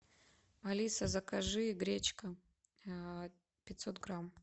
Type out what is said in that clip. алиса закажи гречка пятьсот грамм